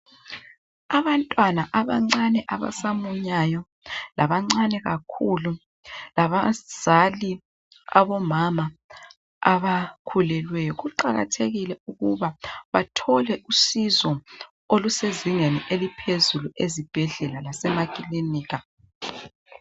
Abantwana abancane abasamunyayo labancane kakhulu labazali abomama abakhulileyo kuqakathekile ukuba bathole usizo olusezingeni eliphezulu ezibhedlela lasema kilinika